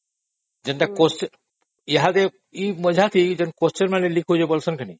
ଯୋଉମାନେ question paper leak କରନ୍ତି ସେମାନଙ୍କୁ କଣ ମଜା ଲାଗେ